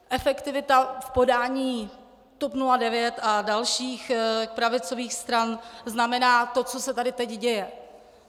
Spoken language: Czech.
Efektivita v podání TOP 09 a dalších pravicových stran znamená to, co se tady teď děje.